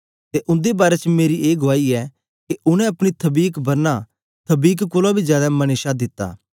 ते उन्दे बारै च मेरी ए गुआई ऐ के उनै अपनी थबीक बरना थबीक कोलां बी जादै मने शा दित्ता